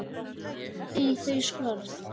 vel í þau skörð?